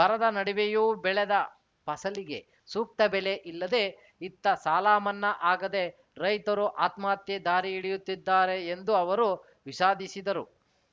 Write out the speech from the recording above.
ಬರದ ನಡುವೆಯೂ ಬೆಳೆದ ಫಸಲಿಗೆ ಸೂಕ್ತ ಬೆಲೆ ಇಲ್ಲದೆ ಇತ್ತ ಸಾಲ ಮನ್ನಾ ಆಗದೆ ರೈತರು ಆತ್ಮಹತ್ಯೆ ದಾರಿ ಹಿಡಿಯುತ್ತಿದ್ದಾರೆ ಎಂದು ಅವರು ವಿಷಾದಿಸಿದರು